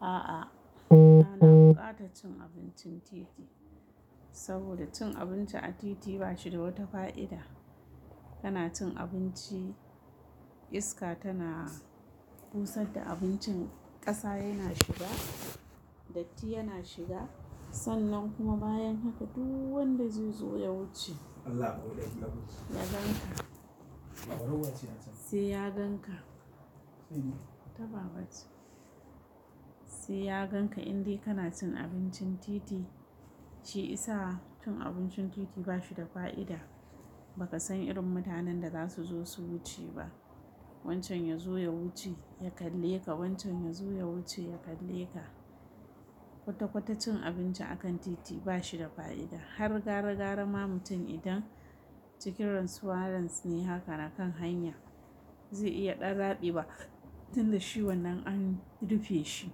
A'a, bana bukata cin abincin titi, saboda cin abinci a titi ba shi da wata fa'ida. Kana cin abinci, iska tana busa da abincin, ƙasa yana shiga, datti yana shiga. Sannan kuma bayan haka duk wanda zai zo ya wuce. Siya ganka. Siya ganka in dai kana cin abincin titi, shi isa cin abincin titi ba shi da fa'ida. Baka san irin mutanen da za su zo su wuce ba. Wancan ya zo ya wuce ya kalle ka, wancan ya zo ya wuce ya kalle ka. Kwata-kwata cin abinci akan titi ba shi da fa'ida. Har gara-gara ma mutum idan cikin retuarentne haka na kan hanya, zai iya ɗan zaɓi ba. Tun da shi wannan an rufe shi.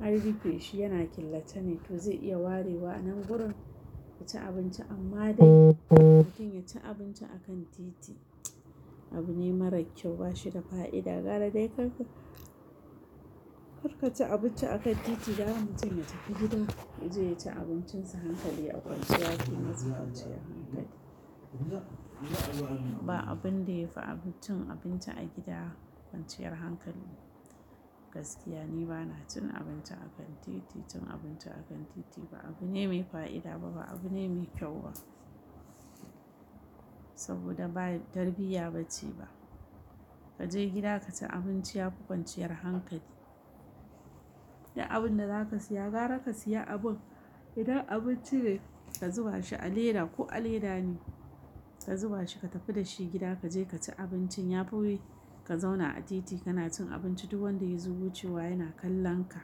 An rufe shi, yana killace ne, to zai iya warewa. Nan gurin ku ci abinci amma dai mutum ya ci abinci akan titi, abune mara kyau ba shi da fa'ida. Gara dai karka, karka ci abinci akan titi. Gara mutum ya tafi gida, ya je ya ci abincinsa hankali a kwanciya fiye da kwanciya hankali. Ba abun da yafi abun cin abinci a gida kwanciyar hankali. Gaskiya ni bana cin abinci akan titi. Cin abinci akan titi ba abune mai fa'ida ba, ba abune mai kyau ba. Saboda ba tarbiyya ba ce ba. Ka je gida ka ci abinci ya fi kwanciyar hankali. Ya abun da za ka siya, gara ka siya abun. Idan abinci ne, ka zuba shi a leda ko a leda ne, ka zuba shi ka tafi da shi gida, ka je ka ci abinci. Ya fi ka zauna a titi kana cin abinci duk wanda ya zo wucewa yana kallon ka.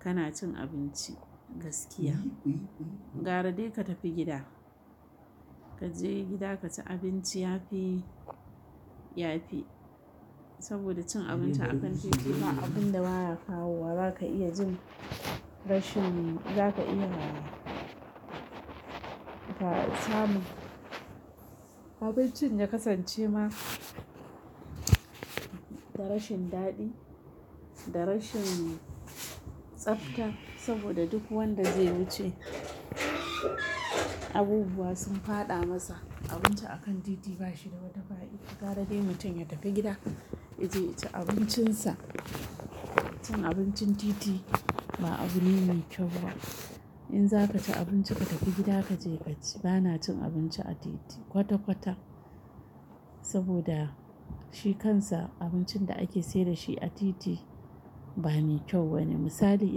Kana cin abinci gaskiya. Gara dai ka tafi gida. Ka je gida ka ci abinci ya fi, ya fi. Saboda cin abinci a kan titi ba abun da baya kawo wa. Ba ka iya jin rashin, ba ka iya samun abincin ya kasance ma da rashin daɗi, da rashin tsafta. Saboda duk wanda zai wuce, abubuwa sun faɗa masa. Abinci akan titi ba shi da wata fa'ida. Gara dai mutum ya tafi gida, ya je ya ci abincinsa. Cin abincin titi ba abune mai kyau ba. In za ka ci abinci ka tafi gida ka je ka ci. Bana cin abinci a titi kwata-kwata. Saboda shi kansa abincin da ake sayar da shi a titi ba me kyau wani. Misali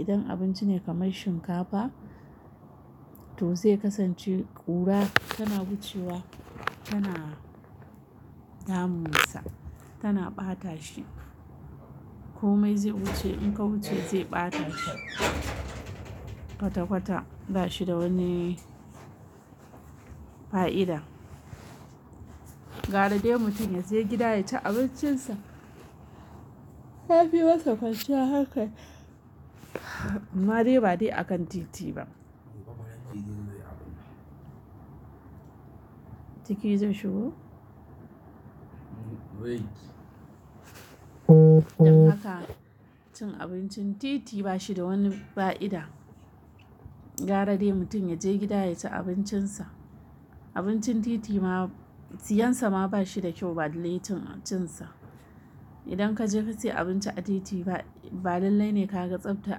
idan abinci ne kamar shinkafa, to zai kasance ƙura tana wucewa, tana damunsa, tana ɓata shi. Komai zai wuce, in ka wuce zai ɓata shi. Kwata-kwata ba shi da wani fa'ida. Gara dai mutum ya je gida ya ci abincinsa. Ya fi masa kwanciya haka. Amma dai ba dai akan titi ba. Titi zai shigo? Idan haka cin abincin titi ba shi da wani fa'ida. Gara dai mutum ya je gida ya ci abincinsa. Abincin titi ma, siyarsa ma ba shi da kyau ba dalilin cin sa. Idan ka je ka siya abinci a titi ba, ba dalili ne ka ga tsaftar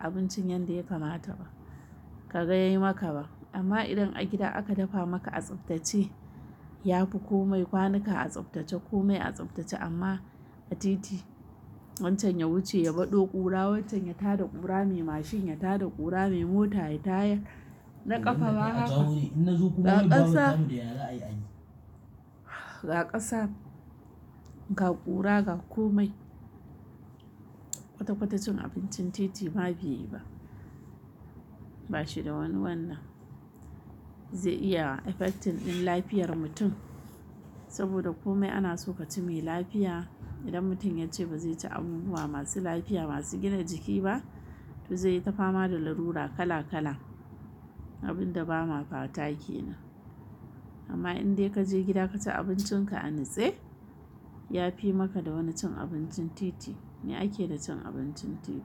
abincin yadda ya kamata ba. Ka ga yayi maka ba. Amma idan a gida aka dafa maka a tsaftace, ya fi komai kwanuka a tsaftace komai a tsaftace. Amma a titi wancan ya wuce ya baɗo ƙura, wancan ya tada ƙura, mai mashin ya tada ƙura, mai mota ya taya. Naƙafa ba haka. Ga ƙasa. Ga ƙasa. Ga ƙura, ga komai. Kwata-kwata cin abincin titi ma biyu ba. Ba shi da wani wannan zai iya affecting ɗin lafiyar mutum. Saboda komai ana so ka ci mai lafiya. Idan mutum ya ce ba zai ci abubuwa masu lafiya, masu gina jiki ba, to zai tafa ma da larura kala-kala. Abin da ba ma fata ke nan. Amma in dai ka je gida ka ci abincin ka a nutse, ya fi maka da wani cin abincin titi. Me ake da cin abincin titi?